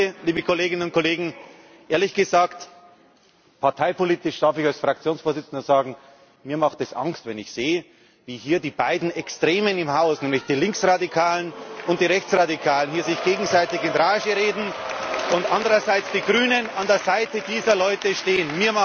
Zum Dritten Ehrlich gesagt, parteipolitisch darf ich als Fraktionsvorsitzender sagen Mir macht es Angst, wenn ich sehe, wie hier die beiden Extremen im Haus, nämlich die Linksradikalen und die Rechtsradikalen, sich gegenseitig in Rage reden und andererseits die Grünen an der Seite dieser Leute stehen.